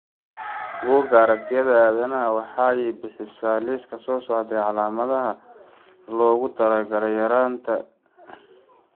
Bugga Aragtiyaha Aadanaha waxay bixisaa liiska soo socda ee calaamadaha iyo calaamadaha loogu talagalay yaraanta Glycosylphosphatidylinositoda.